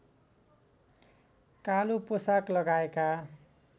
कालो पोसाक लगाएका